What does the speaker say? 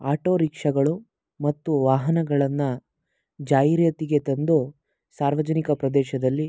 auto ರಿಕ್ಷಾಗಳು ಮತ್ತು ವಾಹನಗಳನ್ನ ಜಾಹಿರಾತಿಗೆ ತಂದು ಸಾರ್ವಜನಿಕ ಪ್ರದೇಶದಲ್ಲಿ--